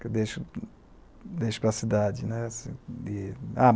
que eu deixo para a cidade.